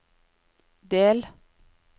del